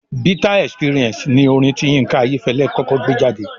"Bitter experience" ni orin tí Yínká Ayẹ́fẹ́lẹ́ kọ́kọ́ gbé jáde